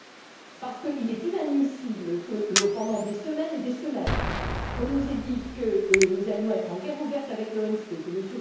En effet, il est inadmissible que, pendant des semaines et des semaines, on nous ait dit que nous allions être en guerre ouverte avec l'OMC, que M.